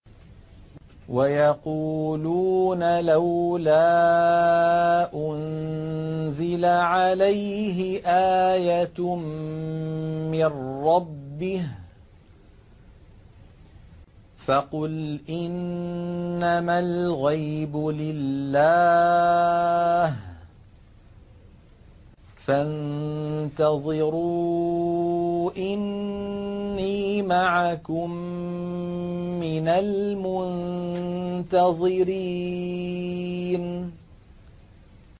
وَيَقُولُونَ لَوْلَا أُنزِلَ عَلَيْهِ آيَةٌ مِّن رَّبِّهِ ۖ فَقُلْ إِنَّمَا الْغَيْبُ لِلَّهِ فَانتَظِرُوا إِنِّي مَعَكُم مِّنَ الْمُنتَظِرِينَ